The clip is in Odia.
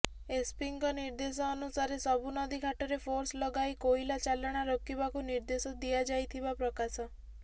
ଏସ୍ପିଙ୍କ ନିଦେ୍ର୍ଦଶ ଅନୁସାରେ ସବୁ ନଦୀଘାଟରେ ଫୋର୍ସ ଲଗାଇ କୋଇଲା ଚାଲାଣ ରୋକିବାକୁ ନିଦେ୍ର୍ଦଶ ଦିଆଯାଇଥିବା ପ୍ରକାଶ